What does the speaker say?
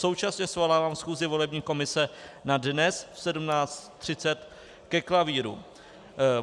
Současně svolávám schůzi volební komise na dnes v 17.30 ke klavíru.